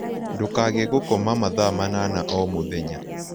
Ndũkage gũkoma mathaa manana o mũthenya